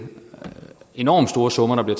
enormt store summer der